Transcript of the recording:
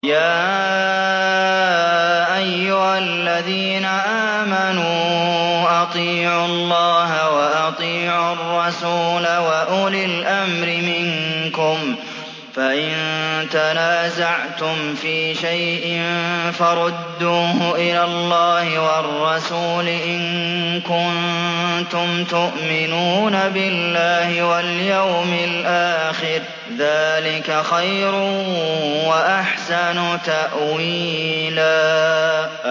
يَا أَيُّهَا الَّذِينَ آمَنُوا أَطِيعُوا اللَّهَ وَأَطِيعُوا الرَّسُولَ وَأُولِي الْأَمْرِ مِنكُمْ ۖ فَإِن تَنَازَعْتُمْ فِي شَيْءٍ فَرُدُّوهُ إِلَى اللَّهِ وَالرَّسُولِ إِن كُنتُمْ تُؤْمِنُونَ بِاللَّهِ وَالْيَوْمِ الْآخِرِ ۚ ذَٰلِكَ خَيْرٌ وَأَحْسَنُ تَأْوِيلًا